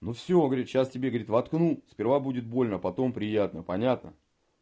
ну всё говорит сейчас тебе горит воткну сперва будет больно потом приятно понятно